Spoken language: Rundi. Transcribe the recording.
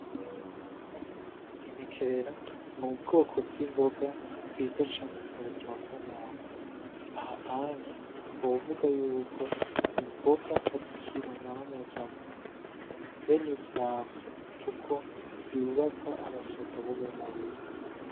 Imikerera n'ubwoko bw'imboga bwiza cane ku buzima bw'umuntu aha anye twovuga yuko imboga ari kirumara mu buzima bw'umuntu be nivy'ivyamwa kuko vyubaka abasoda bo mu mubiri .